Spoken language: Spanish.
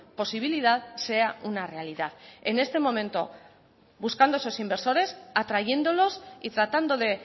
posibilidad sea una realidad en este momento buscando esos inversores atrayéndolos y tratando de